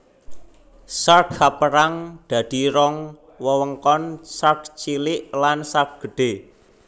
Sark kapérang dadi rong wewengkon Sark Cilik lan Sark Gedhé